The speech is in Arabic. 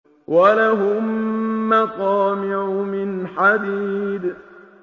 وَلَهُم مَّقَامِعُ مِنْ حَدِيدٍ